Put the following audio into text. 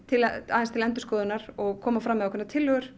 aðeins til endurskoðunar og koma fram með ákveðnar tillögur